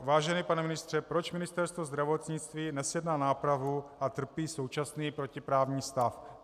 Vážený pane ministře, proč Ministerstvo zdravotnictví nezjedná nápravu a trpí současný protiprávní stav?